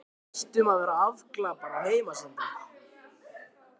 Við hættum að vera afglapar á heimsenda.